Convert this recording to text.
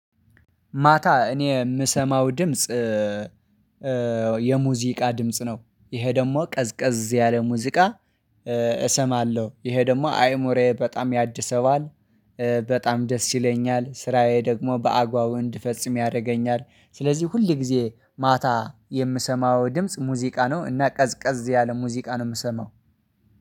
ማታ እኔ የምሰማው ድምጽ የሙዚቃ ድምጽ ነው። ይሄ ደግሞ ቀዝቀዝ ያለ ሙዚቃ። እሰማለሁ ይሄ ደግሞ አይሞሬ በጣም ያድሰዋል። በጣም ደስ ይለኛል ስራዬ ደግሞ በአግባቡ እንድፈጽም ያደርገኛል። ስለዚህ ሁል ጊዜ ማታ የምሰማው ድምጽ ሙዚቃ ነው እና ቀዝቀዝ ያለ ሙዚቃ ነው የምሰማው።